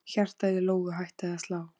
Hjartað í Lóu Lóu hætti að slá.